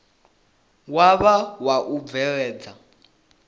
wa vha wa u bveledza